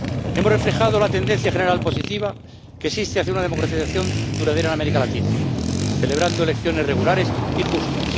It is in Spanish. Hemos reflejado la tendencia general positiva que existe hacia una democratización duradera en América Latina celebrando elecciones regulares y justas.